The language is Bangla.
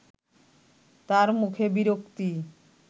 তার মুখে বিরক্তি